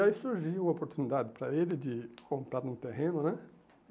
E aí surgiu a oportunidade para ele de comprar um terreno, né?